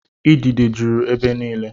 Idide jụrụ ebe niile.